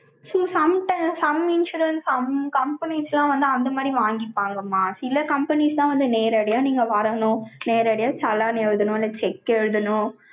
so, some time, some insurance, company ஸ்லாம் வந்து, அந்த மாதிரி வாங்கிப்பாங்கம்மா. சில companies லாம் வந்து, நேரடியா நீங்க வரணும். நேரடியா challan எழுதணும். இல்லை, check எழுதணும்